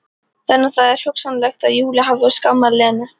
Þannig að það er hugsanlegt að Júlía hafi skammað Lenu.